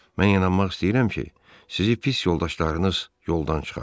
Mən inanmaq istəyirəm ki, sizi pis yoldaşlarınız yoldan çıxarıb.